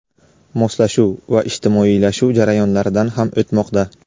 moslashuv va ijtimoiylashuv jarayonlaridan ham o‘tmoqda.